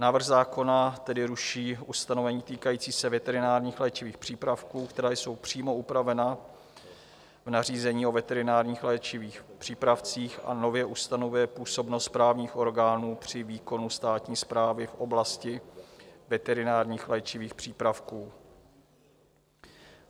Návrh zákona tedy ruší ustanovení týkající se veterinárních léčivých přípravků, která jsou přímo upravena v nařízení o veterinárních léčivých přípravcích, a nově ustanovuje působnost právních orgánů při výkonu státní správy v oblasti veterinárních léčivých přípravků.